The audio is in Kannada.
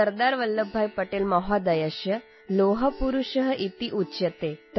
ಸರ್ದಾರ್ ವಲ್ಲಭ ಭಾಯಿ ಪಟೇಲ್ ಮಹೋದಯಃ ಲೋಹಪುರುಷಃ ಇತ್ಯುಚ್ಯತೇ